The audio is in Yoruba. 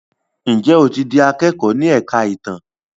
Njé o tí dì akẹkọ ní èka ìtàn?